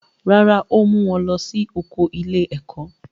Rárá, ó mú wọn lọ sí oko ilé-ẹ̀kó.